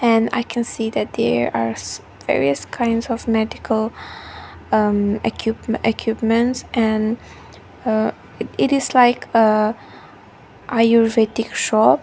and i can see that there are s various kinds of medical um equipm equipments and aa it it is like a ayurvedic shop.